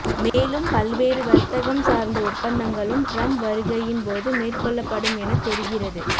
மேலும் பல்வேறு வர்த்தகம் சார்ந்த ஒப்பந்தங்களும் டிரம்ப் வருகையின் போது மேற்கொள்ளப்படும் எனத் தெரிகிறது